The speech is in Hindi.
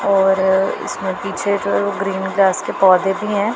और इसमें पीछे जो है ग्रीन ग्रास के पौधे भी हैं।